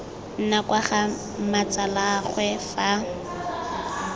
nna kwa ga mmatsalaagwe fa